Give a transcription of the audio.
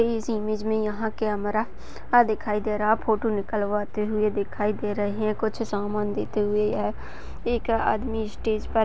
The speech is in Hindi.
इस में यहाँ कैमरा दिखाई दे रहा है फोटो खीचते दिखाई दे रहे है कुछ सामान दिखाई देते हुए एक आदमी स्टेज पर --